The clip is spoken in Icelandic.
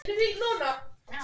Úr safni ÓA